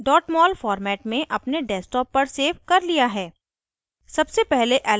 मैंने इन्हें mol format में अपने desktop पर सेव कर लिया है